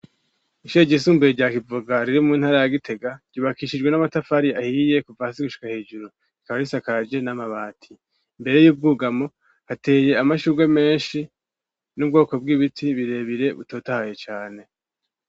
Ishure ryisumbuye ryakivuga ririmu ntari ya gitega yubakishijwe n'amatafari ahiye kuva hasi gushka hijuru ikaba risakage n'amabati imbere y'ubwugamo hateye amashurwe menshi n'ubwoko bw'ibiti birebire butotahaye cane.